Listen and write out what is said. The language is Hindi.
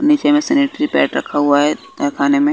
नीचे में सिनेटरीपैड रखा हुआ है तैखाने में--